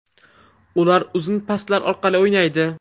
Ular uzun paslar orqali o‘ynaydi.